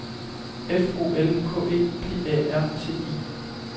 F O L K E P A R T I